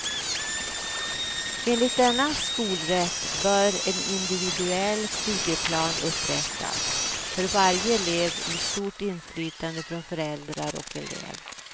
Enligt denna skolrätt bör en individuell studieplan upprättas för varje elev med stort inflytande från föräldrar och elev.